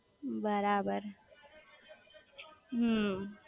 બરાબર હમ્મ